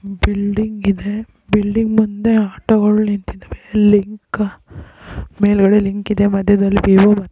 building ಇದೆ building ಮುಂದೆ ಆಟೋಗಳು ನಿಂತಿದ್ದಾವೆ ಲಿಂಕ್ ಮೇಲ್ಗಡೆ ಲಿಂಕ್ ಇದೆ ಮದ್ಯದಲ್ಲಿ ವಿವೊ--